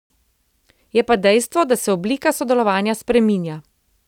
Je pa dejstvo, da se oblika sodelovanja spreminja.